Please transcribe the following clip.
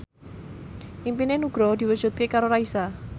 impine Nugroho diwujudke karo Raisa